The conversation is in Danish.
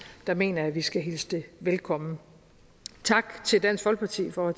mener jeg vi skal hilse det velkommen tak til dansk folkeparti for at